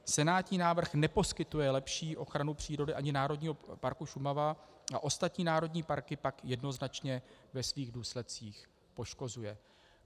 Senátní návrh neposkytuje lepší ochranu přírody ani Národního parku Šumava a ostatní národní parky pak jednoznačně ve svých důsledcích poškozuje."